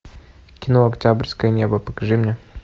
кино октябрьское небо покажи мне